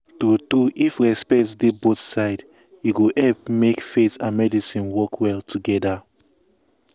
true true if respect dey both side e go help make faith and medicine work well together.